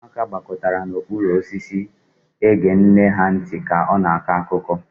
Ụmụaka gbakọtara n'okpuru osisi ege nne ha ntị ka ha na-akọ akụkọ.